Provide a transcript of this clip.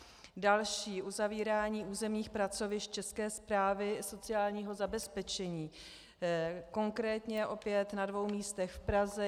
Další - uzavírání územních pracovišť České správy sociálního zabezpečení, konkrétně opět na dvou místech v Praze.